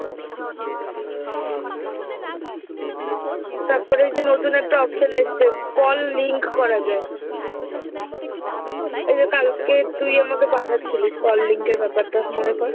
তারপর এইযে নতুন একটা option এসছে call link করা যায়। এই যে কালকে তুই আমাকে পাঠাচ্ছিলি call link এর ব্যাপারটা মনে কর।